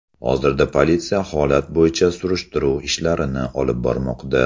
Hozirda politsiya holat bo‘yicha surishtiruv ishlarini olib bormoqda.